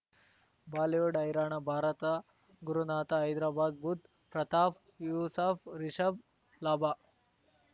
Bollywood ಹೈರಾಣ ಭಾರತ ಗುರುನಾಥ ಹೈದರಾಬಾದ್ ಬುಧ್ ಪ್ರತಾಪ್ ಯೂಸಫ್ ರಿಷಬ್ ಲಾಭ